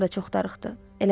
Dostlarım da çox darıxdı.